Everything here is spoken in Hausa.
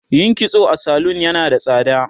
yin kitso a salun yana da tsada